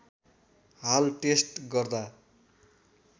हाल टेस्ट गर्दा